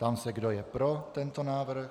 Ptám se, kdo je pro tento návrh.